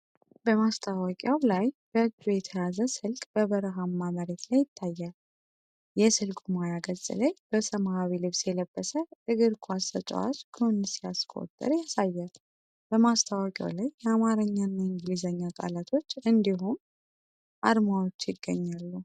በማስታወቂያው ላይ፣ በእጅ የተያዘ ስልክ በበረሃማ መሬት ላይ ይታያል። የስልኩ ማያ ገጽ ላይ በሰማያዊ ልብስ የለበሰ እግር ኳስ ተጫዋች ጎል ሲያስቆጥር ያሳያል። በማስታወቂያው ላይ የአማርኛና የእንግሊዝኛ ቃላቶች እንዲሁም የm-pesa እና Safaricom አርማዎች ይገኛሉ።